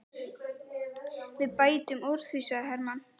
Við bætum úr því, sagði Hermann.